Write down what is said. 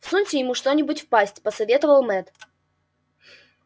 всуньте ему что нибудь в пасть посоветовал мэтт